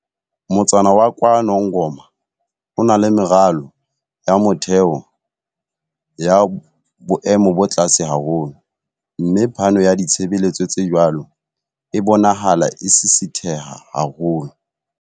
"Motsana wa KwaNongoma o na le meralo ya motheo ya boemo bo tlase haholo, mme phano ya ditshebeletso tse jwalo e bonahala e sisitheha haholo."